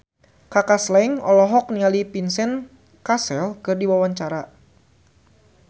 Kaka Slank olohok ningali Vincent Cassel keur diwawancara